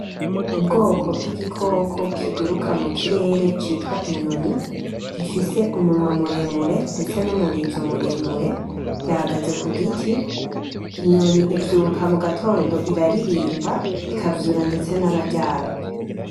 Ubwoko bw’igikoko kiguruka mu kirere citwa inyoni gifise umunwa muremure ndetse n’umurizo muremure gihagaze ku giti. Inyoni ivyuka mu gatondo iraririmba ikavyura ndetse n’abaryamye.